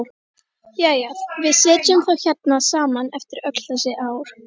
Jæja, við sitjum þá hérna saman eftir öll þessi ár.